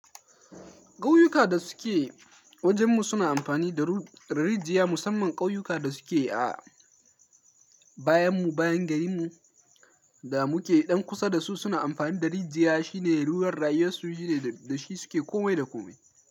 Ƙauyuka da suke wajenmu suna amfani da rijiyar musamman ƙauyuka da suke a bayanmu, bayan garinmu da muke ɗan kusa da su suna amfani da rijiyar, shine ruwan rayuwarsu shine da shi suke komai da komai.